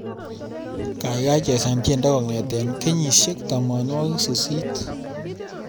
Gaigai chesan tyendo kongete kenyishek tamanwogik sisit